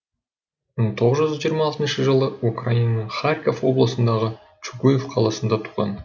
мың тоғыз жүз жиырма алтыншы жылы украинаның харьков облысындағы чугуев қаласында туған